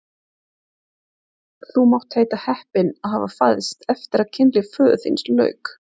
Þú mátt heita heppinn að hafa fæðst eftir að kynlífi föður þíns lauk!